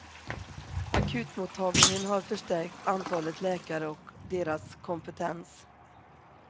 Akutmottagningen har förstärkt antalet läkare och deras kompetens.